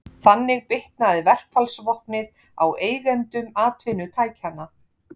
Þannig bitnaði verkfallsvopnið á eigendum atvinnutækjanna.